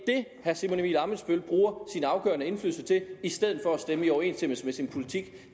herre simon emil ammitzbøll bruger sin afgørende indflydelse til i stedet for at stemme i overensstemmelse med sin politik